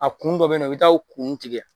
A kun dɔ be yen nɔ i bɛ taa o kun tigɛ